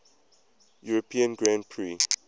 european grand prix